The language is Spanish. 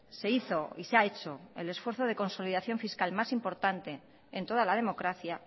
se hizo y se ha hecho el esfuerzo de consolidación fiscal más importante en toda la democracia